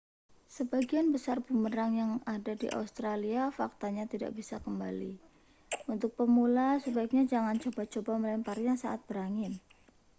sebagian besar bumerang yang ada di australia faktanya tidak bisa kembali untuk pemula sebaiknya jangan coba-coba melemparnya saat berangin